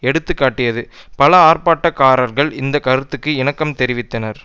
எடுத்து காட்டியது பல ஆர்ப்பாட்டக்காரர்கள் இந்த கருத்துக்கு இணக்கம் தெரிவித்தனர்